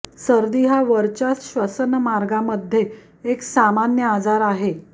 सर्दी हा वरच्या श्वसनमार्गामध्ये एक सामान्य आजार आहे